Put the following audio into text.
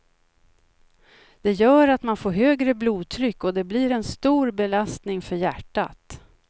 Det gör att man får högre blodtryck och det blir en stor belastning för hjärtat.